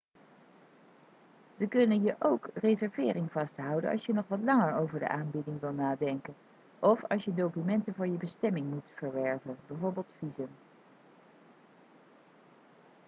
ze kunnen je ook reservering vasthouden als je nog wat langer over de aanbieding wilt nadenken of als je documenten voor je bestemming moet verwerven bijv. visum